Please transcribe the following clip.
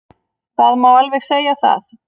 Það má alveg segja það.